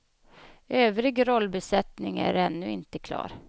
Övrig rollbesättning är ännu inte klar.